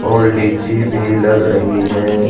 और लीची भी लग रही है।